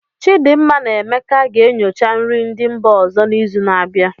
Chidinma na Emeka ga-enyocha nri ndị mba ọzọ n'izu na-abịa.